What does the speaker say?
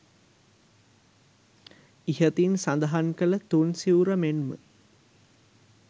ඉහතින් සඳහන් කළ තුන් සිවුර මෙන් ම